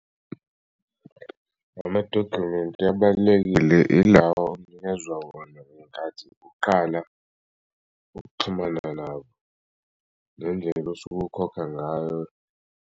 Amadokhumenti abalulekile ilawa onikezwa wona ngenkathi uqala ukuxhumana nabo ngendlela osuke ukhokha ngayo.